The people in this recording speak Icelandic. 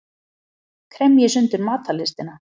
Kremji sundur matarlystina.